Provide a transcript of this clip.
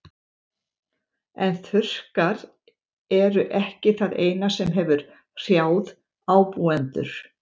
En þurrkar eru ekki það eina sem hefur hrjáð ábúendur.